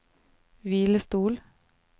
hvilestol